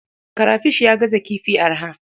Karafish ya gaza kifi arha.